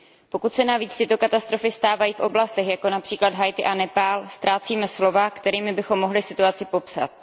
Pokud se navíc tyto katastrofy stávají v oblastech, jako např. Haiti a Nepál, ztrácíme slova, kterými bychom mohli situaci popsat.